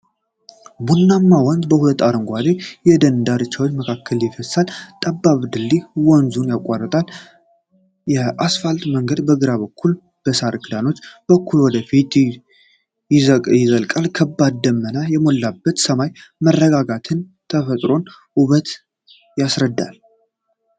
ቡናማ ወንዝ በሁለት አረንጓዴ የደን ዳርቻዎች መካከል ይፈሳል። ጠባብ ድልድይ ወንዙን ያቋርጣል። የአስፋልት መንገድ በግራ በኩል በሣር ክዳን በኩል ወደ ፊት ይዘልቃል። ከባድ ደመና የሞላበት ሰማይ መረጋጋትንና የተፈጥሮን ውበት ያስረዳል።